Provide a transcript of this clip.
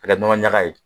Ka kɛ nɔnɔ ɲaga ye